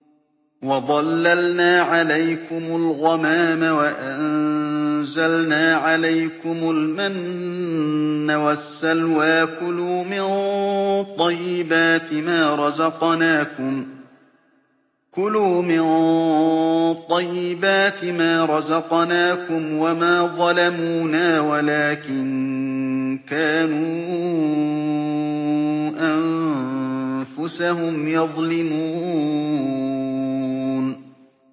وَظَلَّلْنَا عَلَيْكُمُ الْغَمَامَ وَأَنزَلْنَا عَلَيْكُمُ الْمَنَّ وَالسَّلْوَىٰ ۖ كُلُوا مِن طَيِّبَاتِ مَا رَزَقْنَاكُمْ ۖ وَمَا ظَلَمُونَا وَلَٰكِن كَانُوا أَنفُسَهُمْ يَظْلِمُونَ